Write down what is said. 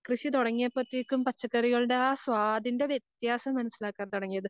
കൃഷി തുടങ്ങിയപ്പഴത്തെയ്ക്കും പച്ചക്കറികളുടെ ആ സ്വാദിന്റെ വ്യത്യാസം മനസ്സിലാക്കാൻ തുടങ്ങിയത്.